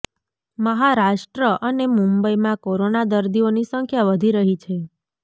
મહારાષ્ટ્ર અને મુંબઇમાં કોરોના દર્દીઓની સંખ્યા વધી રહી છે